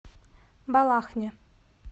балахне